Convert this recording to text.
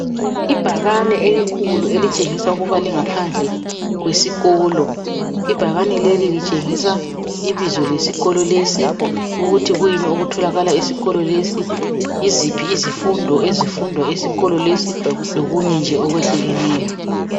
Ibhakane elikhulu elitshengisa ukuba lingaphandle kwesikolo ibhakane leli litshengisa ibizo lesikolo lesi ukuthi kuyini okutholakala esikolo lesi yiziphi izifundo ezifundwa esikolo lesi lokunye nje okwehlukeneyo.